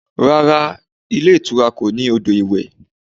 Rárá, ilé ìtura kò ní odò iwẹ̀